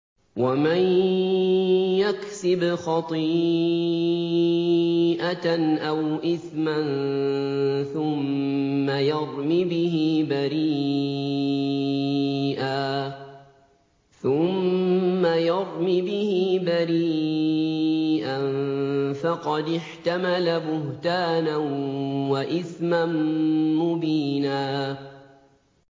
وَمَن يَكْسِبْ خَطِيئَةً أَوْ إِثْمًا ثُمَّ يَرْمِ بِهِ بَرِيئًا فَقَدِ احْتَمَلَ بُهْتَانًا وَإِثْمًا مُّبِينًا